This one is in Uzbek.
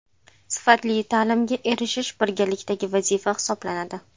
Sifatli ta’limga erishish birgalikdagi vazifa hisoblanadi.